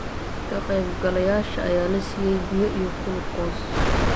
Ka qaybgalayaasha ayaa la siiyay biyo iyo gulukoos